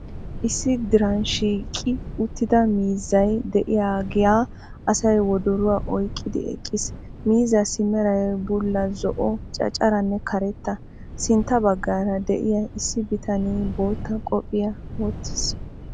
Issi diran shiiqi uttida miizzay de'iyaga asay woddoruwa oyqqidi eqqiis. Miizzaassi meray bulla, zo"o, canccarenne karetta. Sintta baggaara de'iyaa issi bitanee bootta qophphiya wottiis.